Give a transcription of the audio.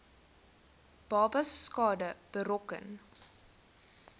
babas skade berokken